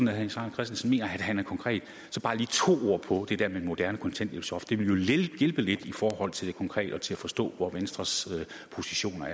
herre jens ejner christensen mener at han er konkret så bare lige to ord på det der med et moderne kontanthjælpsloft det ville jo hjælpe lidt i forhold til det konkrete og til at forstå hvor venstres positioner